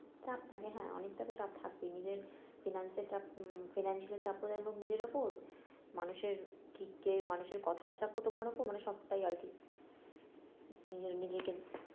চাপ থাকে হ্যাঁ অনেকটা তো চাপ থাকবেই নিজের finance এর চাপ আহ financial চাপও যেমন নিজের উপর মানুষের কি কের মানুষের কথার চাপও তোমার উপর মানে সবটাই আর কি নিজেকে